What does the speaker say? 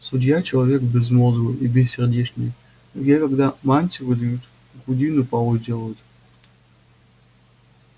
судья человек безмозглый и бессердечный ей когда мантию выдают грудину полой делают